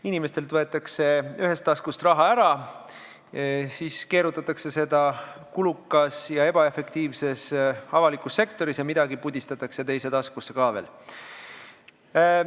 Inimestel võetakse ühest taskust raha ära, siis keerutatakse seda kulukas ja ebaefektiivses avalikus sektoris ja midagi pudistatakse teise taskusse ka veel.